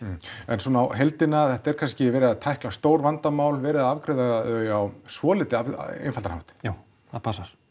en svona á heildina þetta er kannski verið að tækla stór vandamál verið að afgreiða þau á svolítið einfaldan hátt já það passar